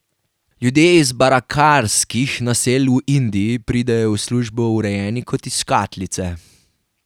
Ljudje iz barakarskih naselij v Indiji pridejo v službo urejeni kot iz škatlice.